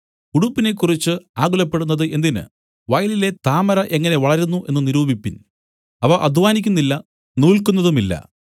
ഉടുപ്പിനെക്കുറിച്ച് ആകുലപ്പെടുന്നത് എന്തിന് വയലിലെ താമര എങ്ങനെ വളരുന്നു എന്നു നിരൂപിപ്പിൻ അവ അദ്ധ്വാനിക്കുന്നില്ല നൂല്ക്കുന്നതുമില്ല